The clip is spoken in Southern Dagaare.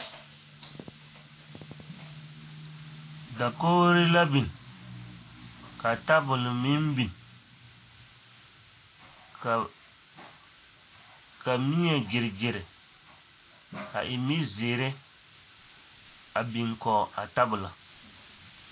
Dakogiri la biŋ ka tabol meŋ biŋ ka mie gyere gyere a e mizeere a biŋ kɔge a tabolo.